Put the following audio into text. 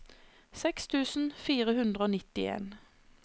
seks tusen fire hundre og nittien